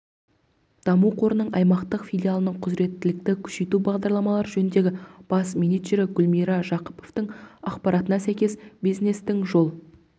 даму қорының аймақтық филиалының құзіреттілікті күшейту бағдарламалары жөніндегі бас менеджері гүлмира жақыпованың ақпаратына сәйкес бизнестің жол